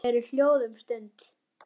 Þau eru hljóð um stund.